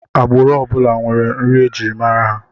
Agbụrụ ọ bụla nwere nri e ji mara ha